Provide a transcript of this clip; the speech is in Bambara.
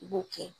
I b'o kɛ